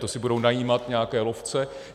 To si budou najímat nějaké lovce?